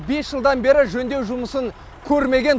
бес жылдан бері жөндеу жұмысын көрмеген